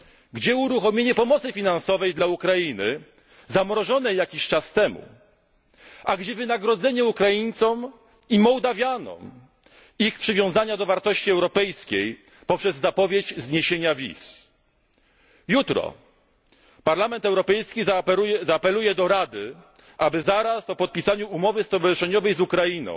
drzwi? Gdzie uruchomienie pomocy finansowej dla Ukrainy, zamrożonej jakiś czas temu? A gdzie wynagrodzenie Ukraińcom i Mołdawianom ich przywiązania do wartości europejskich poprzez zapowiedź zniesienia wiz? Jutro Parlament Europejski zaapeluje do Rady, aby zaraz po podpisaniu umowy stowarzyszeniowej